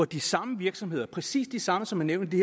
de samme virksomheder præcis de samme som er nævnt i